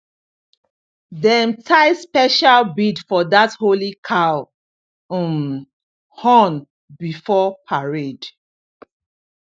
dem tie special bead for that holy cow um horn before parade